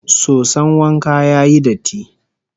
Soson wanka ya yi datti